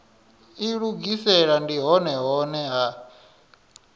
ilugisela ndi hone hune ha